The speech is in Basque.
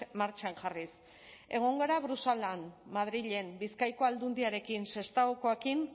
martxan jarriz egon gara bruselan madrilen bizkaiko aldundiarekin